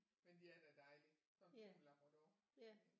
Men de er da dejlige sådan 2 labrador